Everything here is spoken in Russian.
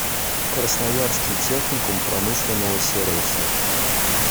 красноярский техникум промышленного сервиса